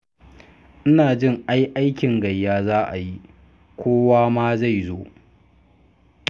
Ina jin ai aikin gayya za a yi, kowa ma zai zo.